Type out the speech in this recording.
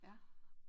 Ja